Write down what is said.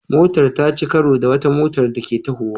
Motar ta ci karo da wata motar da Ke tahowa